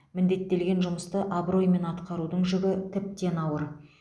міндеттелген жұмысты абыроймен атқарудың жүгі тіптен ауыр